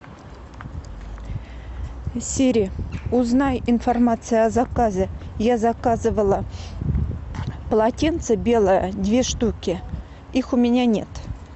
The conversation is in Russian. сири узнай информацию о заказе я заказывала полотенце белое две штуки их у меня нет